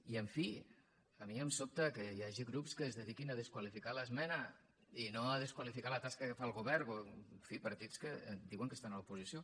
i en fi a mi em sobta que hi hagi grups que es dediquin a desqualificar l’esmena i no a desqualificar la tasca que fa el govern en fi partits que diuen que estan a l’oposició